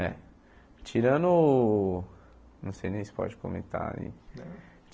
É. Tirando... Não sei nem se pode comentar, né?